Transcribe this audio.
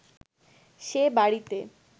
সে বাড়িতে